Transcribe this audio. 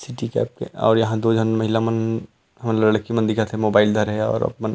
city cab के और यहाँ दो झन महिला मन लड़की मन दिखत हे मोबाइल धरे हे और--